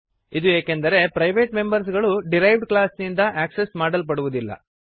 ಇದು ಏಕೆಂದರೆ private members ಗಳು ಡಿರೈವ್ಡ್ ಕ್ಲಾಸ್ನಿಂದ ಆಕ್ಸೆಸ್ ಮಾಡಲ್ಪಡುವದಿಲ್ಲ